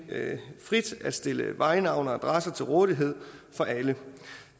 frit at stille vejnavne og adresser til rådighed for alle